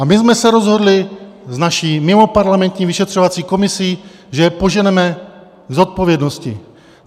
A my jsme se rozhodli s naší mimoparlamentní vyšetřovací komisí, že je poženeme k zodpovědnosti.